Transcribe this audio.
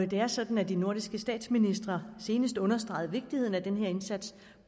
det er sådan at de nordiske statsministre senest understregede vigtigheden af denne indsats